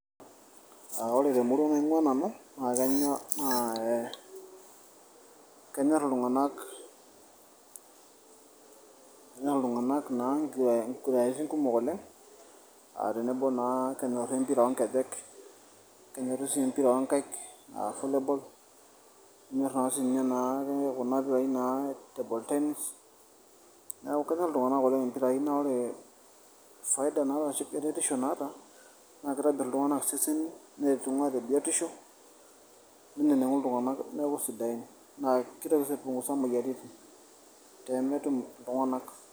aa ore temurua naing'ua nanu naa ee kenyorr iltung'anak na inkiguraritin kumok oleng aa tenebo naa kenyorr empira oonkejek kenyorr sii empira oonkaik aa volleyball kinyorr naa sininye naake kuna pirai naa table tenis neeku kenyorr iltung'anak oleng impirai naa ore faida naata ashu eretisho naata nmaa kitobirr iltung'anak iseseni neretu naa tebiotisho neneng'u iltung'anak neeku sidain naa kitoki sii aipungusa moyiaritin teemetum iltung'anak.